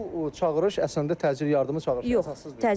Bu çağırış əslində təcili yardıma çağırışdır, əsassız deyil.